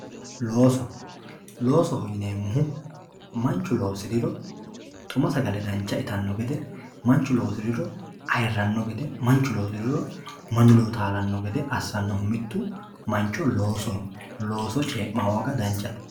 Looso loosoho yineemo woyite manchu loosiriro xuma sagale dancha itano gede manchu loosiriro ayirano gede manchu loosiriro mannu ledo taalano gede asanohu mittu loosoho